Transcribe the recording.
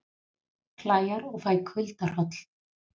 Klæjar og fæ kuldahroll